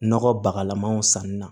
Nɔgɔ bakalamanw sanni na